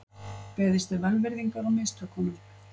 Beðist er velvirðingar á mistökunum